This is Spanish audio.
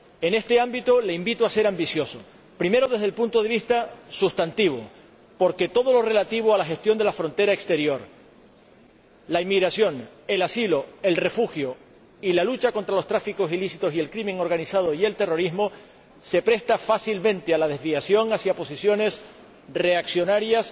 En este ámbito, le invito a ser ambicioso primero, desde el punto de vista sustantivo, porque todo lo relativo a la gestión de la frontera exterior, la inmigración, el asilo, el refugio y la lucha contra los tráficos ilícitos, el crimen organizado y el terrorismo se presta fácilmente a la desviación hacia posiciones reaccionarias